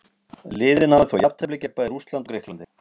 Síðan getum við tekið hinn pólinn í þessa umræðu.